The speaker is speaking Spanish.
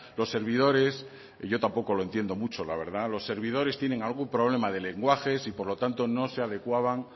los servidores yo tampoco lo entiendo mucho la verdad los servidores tienen algún problema de lenguajes y por lo tanto no se adecuaban